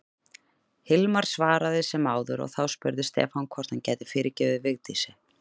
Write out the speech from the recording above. Hilmar svaraði sem áður og þá spurði Stefán hvort hann gæti fyrirgefið Vigdísi.